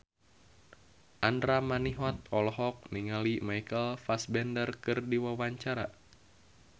Andra Manihot olohok ningali Michael Fassbender keur diwawancara